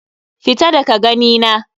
Fita daga gani na.